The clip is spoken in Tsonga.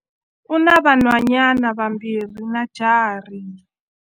U na vanhwanyana vambirhi na jaha rin'we.